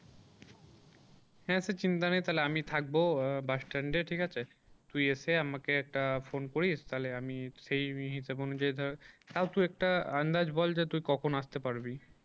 হ্যাঁ সে চিন্তা নেই তাহলে আমি থাকবো আহ bus stand এ ঠিক আছে। তুই এসে আমাকে একটা phone করিস তাহলে আমি সেই হিসাব অনুযায়ী ধর তাও তুই একটা আন্দাজ বল যে তুই কখন আসতে পারবি?